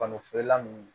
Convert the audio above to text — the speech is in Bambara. feerela ninnu